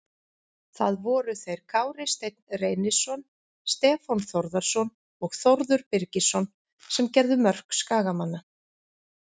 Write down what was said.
Það voru þeir Kári Steinn Reynisson, Stefán Þórðarson og Þórður Birgisson sem gerðu mörk Skagamanna.